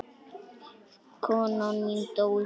Konan mín dó í fyrra.